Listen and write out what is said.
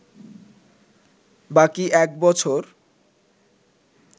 বাকি এক বছর